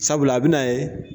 Sabula a bɛn'a ye